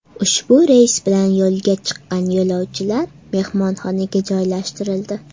Ushbu reys bilan yo‘lga chiqqan yo‘lovchilar mehmonxonaga joylashtirildi.